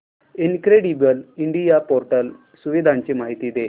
incredible India portal सुविधांची माहिती दे